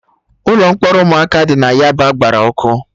Ụlọ mkpọrọ ụmụaka dị na yaba gbara ọkụ